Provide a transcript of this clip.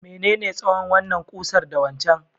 menene tsawon wannan ƙusar da waccan?